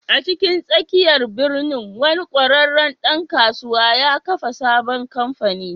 A cikin tsakiyar birnin, wani ƙwararren ɗan kasuwa ya kafa sabon kamfani.